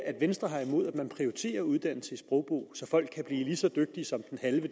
venstre har imod at man prioriterer uddannelse i sprogbrug så folk kan blive lige så dygtige som